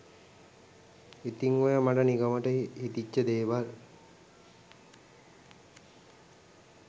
ඉතින් ඔය මට නිකමට හිතිච්ච දේවල්